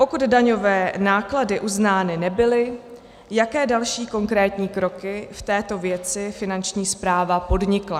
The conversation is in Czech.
Pokud daňové náklady uznány nebyly, jaké další konkrétní kroky v této věci Finanční správa podnikla?